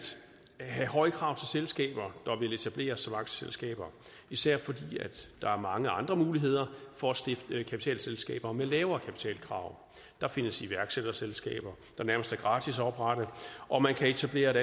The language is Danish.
have høje krav til selskaber der vil etableres som aktieselskaber især fordi der er mange andre muligheder for at stifte kapitalselskaber med lavere kapitalkrav der findes iværksætterselskaber der nærmest er gratis at oprette og man kan etablere et